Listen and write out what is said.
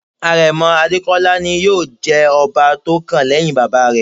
Àrẹ̀mọ Adékọ́lá ni yóò jẹ ọba tó kàn lẹ́hìn bàbá rẹ̀.